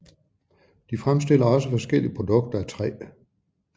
De fremstiller også forskellige produkter af træ